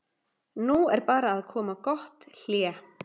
Nú er bara að koma gott hlé.